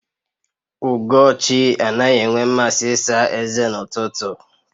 Ugochi anaghị enwe mmasị ịsa eze n'ụtụtụ